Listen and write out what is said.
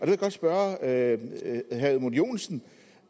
jeg godt spørge herre edmund joensen